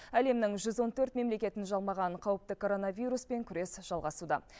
әлемнің жүз он төрт мемлекетін жалмаған қауіпті коронавируспен күрес жалғасуда